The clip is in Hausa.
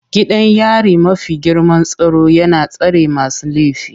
Gidan yari mafi girman tsaro yana tsare masu laifi.